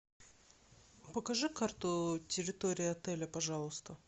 покажи карту территории отеля пожалуйста